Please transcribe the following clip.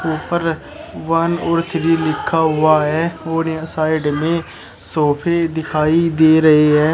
ऊपर वन और थ्री लिखा हुआ है और ये साइड में सोफे दिखाई दे रही है।